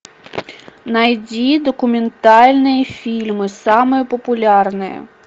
найди документальные фильмы самые популярные